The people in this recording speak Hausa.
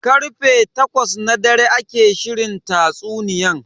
Karfe takwas na dare ake shirin tatsuniyan.